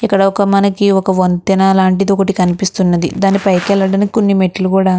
ఇక్కడ ఒక మనకి ఒక వంతెన లాంటిది ఒకటి కనిపిస్తున్నది. దాని పైకి వెళ్ళడానికి కొన్ని మెట్లు కూడా --